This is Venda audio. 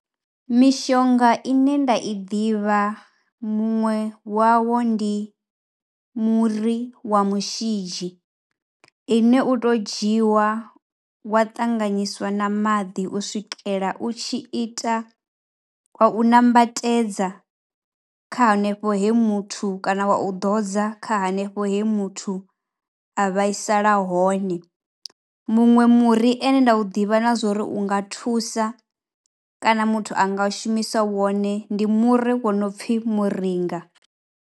Mishonga ine nda i ḓivha muṅwe wawo ndi muri wa mushidzhi ine u tou dzhiwa wa ṱanganyiswa na maḓi u swikela u tshi ita, wa u nambatedza kha hanefho he muthu kana wa u ḓo dza kha hanefho he muthu a vhaisala hone. Muṅwe muri une nda u ḓivha na zwa uri u nga thusa kana muthu a nga shumiswa wone ndi muri wo no u pfhi muringa.